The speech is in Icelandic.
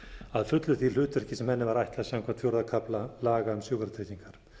að fullu því hlutverki sem henni var ætlað samkvæmt fjórða kafla laga um sjúkratryggingar